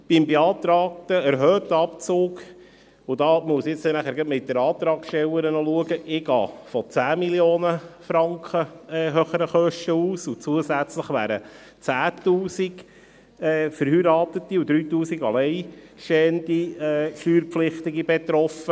Zum beantragten erhöhten Abzug muss ich mich gleich noch mit der Antragstellerin austauschen, denn ich gehe von um 10 Mio. Franken höheren Kosten aus, und zusätzlich wären 10 000 verheiratete und 3000 alleinstehende Steuerpflichtige betroffen.